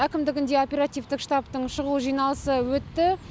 әкімдігінде оперативтік штаттың шұғыл жиналысы өтті